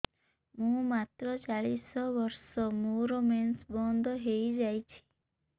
ମୁଁ ମାତ୍ର ଚାଳିଶ ବର୍ଷ ମୋର ମେନ୍ସ ବନ୍ଦ ହେଇଯାଇଛି